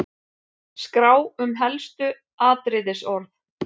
Skrá um helstu atriðisorð